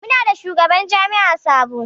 Muna da shugaban jami'i sabo.